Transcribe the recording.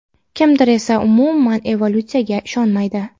kimdir esa umuman evolutsiyaga ishonmaydi.